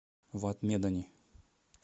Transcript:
вад медани